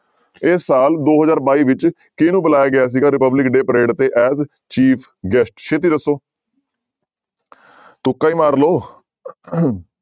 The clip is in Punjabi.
ਇਸ ਸਾਲ ਦੋ ਹਜ਼ਾਰ ਬਾਈ ਵਿੱਚ ਕਿਹਨੂੰ ਬੁਲਾਇਆ ਗਿਆ ਸੀਗਾ republic day parade ਤੇ as chief guest ਛੇਤੀ ਦੱਸੋ ਤੁੱਕਾ ਹੀ ਮਾਰ ਲਓ